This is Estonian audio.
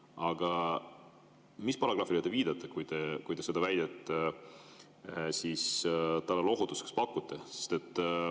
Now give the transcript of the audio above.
Aga mis paragrahvile te viitate, kui te talle lohutuseks seda väidet pakute?